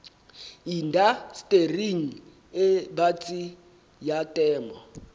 indastering e batsi ya temo